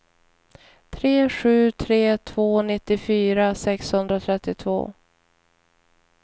tre sju tre två nittiofyra sexhundratrettiotvå